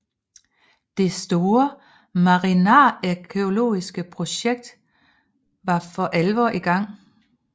Det store marinarkæologiske projekt var for alvor i gang